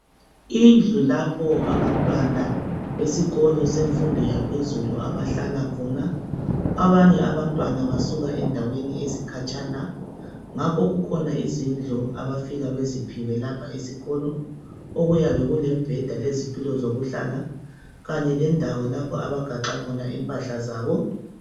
Indlu lapho abantwana besikolo semfundo yaphezulu abahlala khona abanye abantwana basuka endaweni ezikhatshana ngakho kukhona izindlu abafika beziphiwe lapha esikolo okuyabe kulemibheda lezitulo zokuhlala Kanye lendawo lapho abagaxa khona impahla zabo